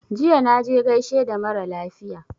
Jiya na je gaishe da mara lafiya